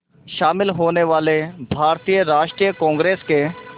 शामिल होने वाले भारतीय राष्ट्रीय कांग्रेस के